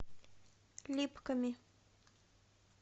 липками